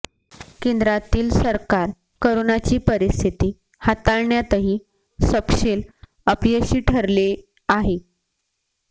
केंद्रातील सरकार करोनाची परिस्थिती हाताळण्यातही सपशेल अपयशी ठरले आहे